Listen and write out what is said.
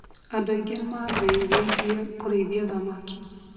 Andũ aingĩ nĩ mambĩtie kũrĩithia thamaki